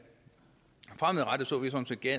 er